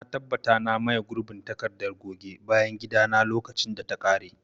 Na tabbata na maye gurbin takardar goge bayan gida na lokacin da ta kare.